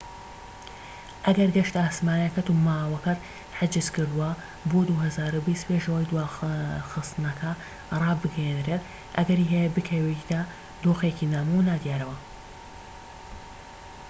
ئەگەر گەشتە ئاسمانیەکەت و مانەوەکەت حیجز کردووە بۆ ٢٠٢٠ پێش ئەوەی دواخستنەکە ڕابگەیەنرێت، ئەگەری هەیە بکەویتە دۆخێکی نامۆ و نادیارەوە